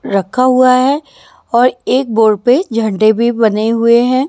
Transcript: रखा हुआ है और एक बोर्ड पे झंडे भी बने हुए हैं।